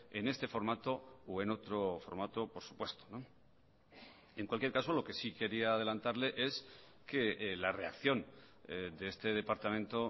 en este formato o en otro formato por supuesto en cualquier caso lo que sí quería adelantarle es que la reacción de este departamento